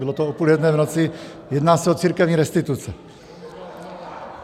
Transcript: Bylo to o půl jedné v noci, jedná se o církevní restituce.